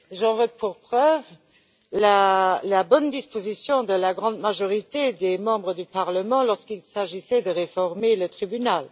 J'en veux pour preuve la bonne disposition de la grande majorité des membres du Parlement lorsqu'il s'est agi de réformer le tribunal.